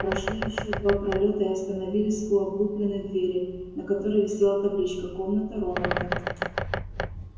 прошли ещё два пролёта и остановились у облупленной двери на которой висела табличка комната рональда